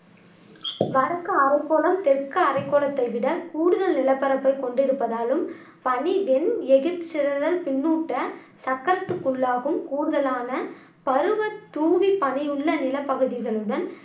வடக்கு அரைக்கோளம் தெற்கு அரைக்கோளத்தை விட கூடுதல் நிலப்பரப்பை கொண்டிருப்பதாலும் பனி வெண் எகிர்சிதறல் பின்னூட்டச் சக்கரத்துக்குள்ளாகும் கூடுதலான பருவ தூவிப்பனியுள்ள நிலப் பகுதிகளுடன்